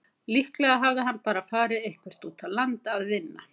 Líklega hafði hann bara farið eitthvert út á land að vinna.